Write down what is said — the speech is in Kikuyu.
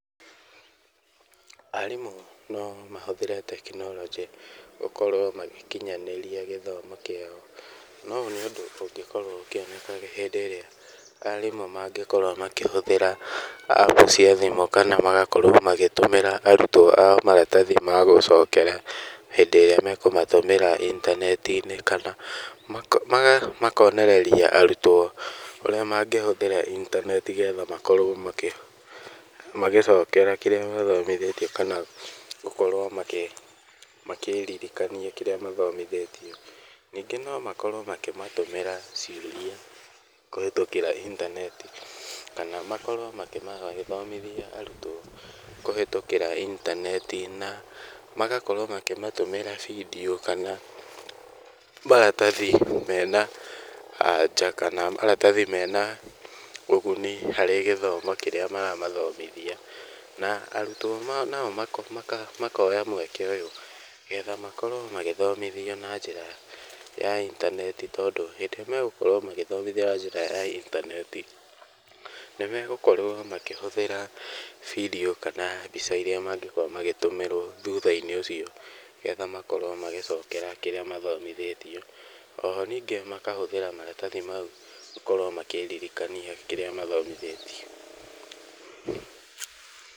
Arimũ no mahũthĩre tekinoronjĩ gũkorwo magĩkinyanĩria gĩthomo kĩao, no ũũ nĩ ũndũ ũngĩkorwo ũkĩoneka hĩndĩ ĩrĩa arimũ mangĩkorwo makĩhũthĩra app cia thimũ kana magakorwo magĩtũmĩra arutwo ao maratathi ma gũcokera hĩndĩ ĩrĩa mekũmatũmĩra intaneti-inĩ kana makonereria arutwo ũrĩa mangĩ ũrĩa mangĩhũthĩra intaneti getha makorwo magĩcokera kĩrĩa mathomithĩtio kana gũkorwo makĩririkania kĩrĩa mathomithĩtio. Ningĩ no makorwo makĩmatũmĩra ciũria kũhetũkĩra intaneti kana makorwo makĩmathomithia arutwo kũhetũkĩra intaneti na magakorwo makĩmatũmĩra bindiũ kana maratathi mena na anja kana maratathi mena ũguni harĩ gĩthomo kĩrĩa maramathomithia, na arutwo nao makoya mweke ũyũ getha makorwo magĩthomithio nanjĩra ya intaneti tondũ hĩndĩ ĩrĩa megũkorwo magĩthomithio na njĩra ya intaneti, nimegũkorwo makĩhũthĩra bindiũ kana mbica iria mangĩkorwo magĩtũmĩrwo thutha-inĩ ũcio getha makorwo magĩcokera kĩrĩa mathomithĩtio. Oho ningĩ makahũthĩra maratathi mau gũkorwo makĩririkania kĩrĩa mathomithĩtio.